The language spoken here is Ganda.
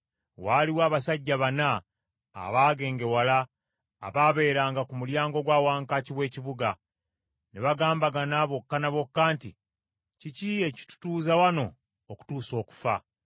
Waaliwo abasajja bana abaagengewala abaabeeranga ku mulyango gwa wankaaki w’ekibuga. Ne bagambagana bokka ne bokka nti, “Kiki ekitutuuza wano okutuusa okufa?